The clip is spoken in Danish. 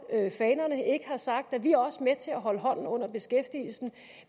fanerne og ikke har sagt at de også med til at holde hånden under beskæftigelsen